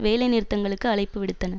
வேலைநிறுத்தங்களுக்கு அழைப்பு விடுத்தன